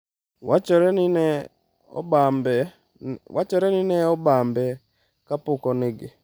Wachore ni ne obambe kapok onege.